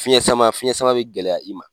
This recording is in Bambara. Fiɲɛn sama, fiɲɛn sama be gɛlɛya i ma.